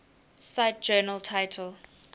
cite journal title